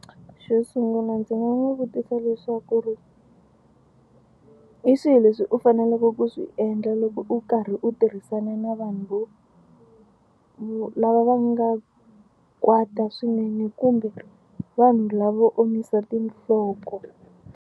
Xo sungula ndzi nga n'wi vutisa leswaku ri hi swihi leswi u faneleke ku swi endla loko u karhi u tirhisana na vanhu vo vo lava va nga kwata swinene kumbe vanhu lavo omisa tinhloko.